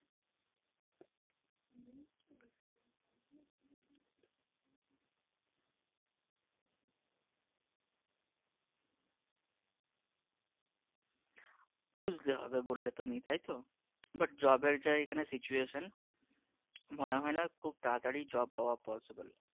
খুঁজতে হবে বল্লে তুমি তাইতো? but job র যা এখানে situation মনে হয়না খুব তাড়াতাড়ি job পাওয়া possible